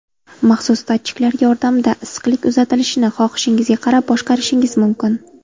Maxsus datchiklar yordamida issiqlik uzatilishini xohishingizga qarab boshqarishingiz mumkin.